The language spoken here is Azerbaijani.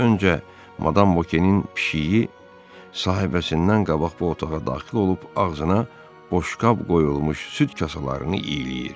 Öncə Madam Vokenin pişiyi sahibəsindən qabaq bu otağa daxil olub ağzına boşqab qoyulmuş süd kasalarını iyiləyir.